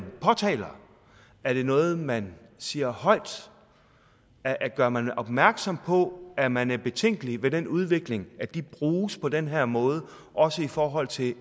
påtaler er det noget man siger højt gør man opmærksom på at man er betænkelig ved den udvikling at de bruges på den her måde også i forhold til